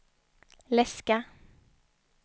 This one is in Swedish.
läska